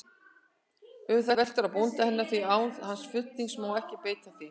Um það veltur á bónda hennar, því án hans fulltingis má ekki beita því.